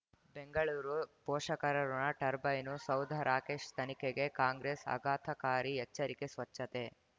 ಬೆಂಗಳೂರು ಪೋಷಕರಋಣ ಟರ್ಬೈನು ಸೌಧ ರಾಕೇಶ್ ತನಿಖೆಗೆ ಕಾಂಗ್ರೆಸ್ ಆಘಾತಕಾರಿ ಎಚ್ಚರಿಕೆ ಸ್ವಚ್ಛತೆ